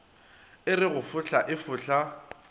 a re go e fohla